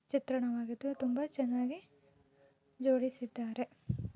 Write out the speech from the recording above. ಚಿತ್ರಣವಾಗಿತು ತುಂಬಾ ಚೆನ್ನಾಗಿ ಜೋಡಿಸಿದಾರೆ.